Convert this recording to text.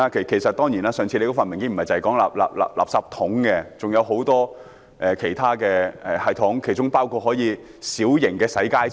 其實，我們上次看的文件不僅提及垃圾桶，還提到很多其他系統，包括小型洗街車。